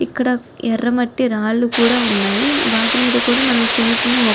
ఇక్కడ ఎరామట్టి రాళ్ళూ కూడా వున్నాయి. వాటి మీద కూడా మనం చిన్ని చిన్ని మొక్క--